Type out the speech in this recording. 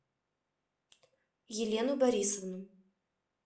елену борисовну